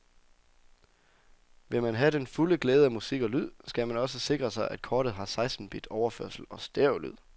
Vil man have den fulde glæde af musik og lyd, skal man også sikre sig, at kortet har seksten bit overførsel og stereolyd.